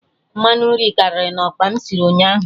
Mmanụ nri karịrị na okpa m sịrị ụnyaahụ